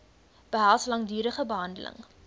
behels langdurige behandeling